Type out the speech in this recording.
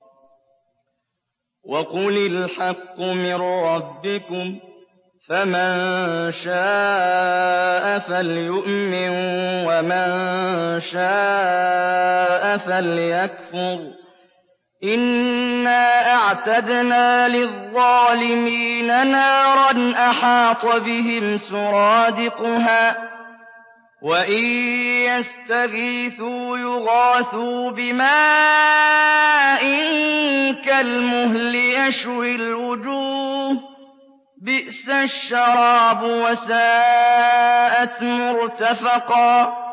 وَقُلِ الْحَقُّ مِن رَّبِّكُمْ ۖ فَمَن شَاءَ فَلْيُؤْمِن وَمَن شَاءَ فَلْيَكْفُرْ ۚ إِنَّا أَعْتَدْنَا لِلظَّالِمِينَ نَارًا أَحَاطَ بِهِمْ سُرَادِقُهَا ۚ وَإِن يَسْتَغِيثُوا يُغَاثُوا بِمَاءٍ كَالْمُهْلِ يَشْوِي الْوُجُوهَ ۚ بِئْسَ الشَّرَابُ وَسَاءَتْ مُرْتَفَقًا